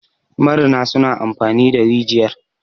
marina suna amfani da rijiyar